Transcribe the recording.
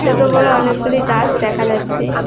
ছোটো বড়ো অনেকগুলি গাছ দেখা যাচ্ছে।